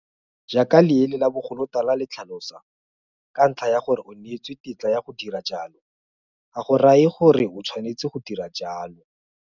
Jaaka leele la bogolotala le tlhalosa, ka ntlha ya gore o neetswe tetla ya go dira jalo, ga go raye gore o tshwanetse go dira jalo.